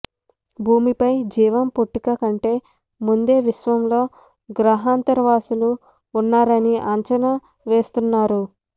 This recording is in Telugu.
భూమిపై జీవం పుట్టుక కంటే ముందే విశ్వంలో గ్రహాంతరవాసులు ఉన్నారని అంచనా వేస్తున్నారు